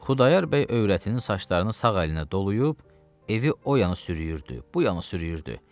Xudayar bəy övrətinin saçlarını sağ əlinə doluyub, evi o yana sürüyürdü, bu yana sürüyürdü.